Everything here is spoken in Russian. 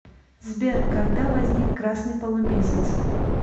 сбер когда возник красный полумесяц